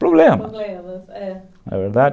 Problemas, problemas, é. É verdade.